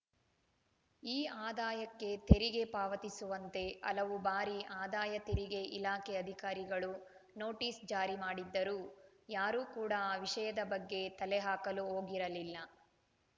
ಈ ಆದಾಯಕ್ಕೆ ತೆರಿಗೆ ಪಾವತಿಸುವಂತೆ ಹಲವು ಬಾರಿ ಆದಾಯ ತೆರಿಗೆ ಇಲಾಖೆ ಅಧಿಕಾರಿಗಳು ನೋಟಿಸ್‌ ಜಾರಿ ಮಾಡಿದ್ದರೂ ಯಾರೂ ಕೂಡಾ ಆ ವಿಷಯದ ಬಗ್ಗೆ ತಲೆಹಾಕಲು ಹೋಗಿರಲಿಲ್ಲ